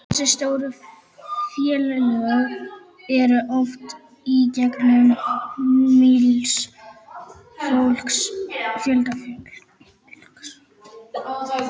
Þessi stóru félög eru oft í eigu mikils fjölda fólks.